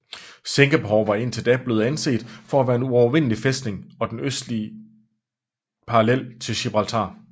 Singapore var indtil da blevet anset for at være en uovervindelig fæstning og den østlige parallel til Gibraltar